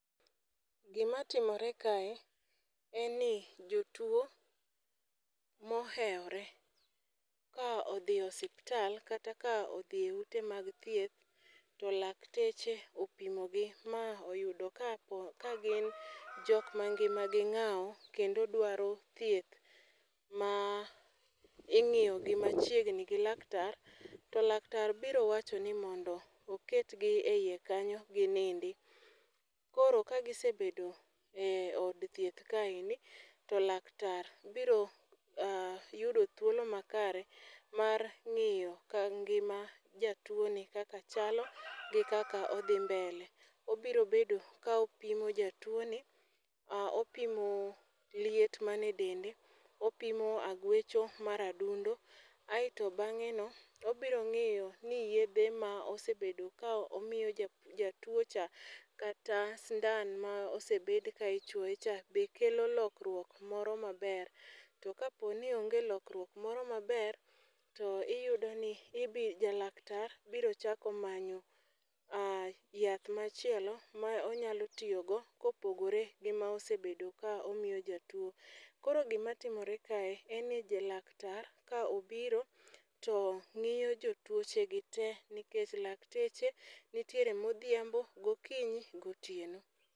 Gimatimore kae en ni jotuwo mohewore ka odhi e osiptal kata ka odhi e ute mag thieth to lakteche opimogi ma oyudo ka gin jokma ngimagi ng'awo, kendo dwaro thieth ma ing'iyogi machiegni gi laktar to laktar biro wacho ni mondo oketgi e iye kanyo ginindi. Koro kagisebedo e od thieth kaeni, to laktar biro yudo thuolo makare mar ng'iyo ka ngima jatuwoni kaka chalo gi kaka odhi mbele. Obiro bedo ka opimo jatuwoni, opimo liet mane dende, opimo agwecho mar adundo, aeto beng'eno, obiro ng'iyo ni yedhe ma osebedo ka omiyo jatuwocha, kata sindan ma osebed ka ichuoyecha be kelo lokruok moro maber. To kapo ni onge lokruok moro maber, to iyudoni laktar biro chako manyo yath machielo m aonyalo tiyogo kopogore gi ma osebedo ka omiyo jatuwo. Koro gimatimore kae en ni ja laktar ka obiro to ng'iyo jotuochegi te nikech lakteche nitiere modhiambo, gokinyi gotieno.